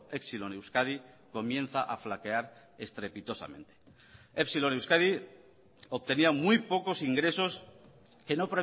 epsilon euskadi comienza a flaquear estrepitosamente epsilon euskadi obtenía muy pocos ingresos que no